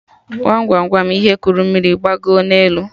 Gwam Gwam Gwam ihe kuru mmiri gbagoo na elu?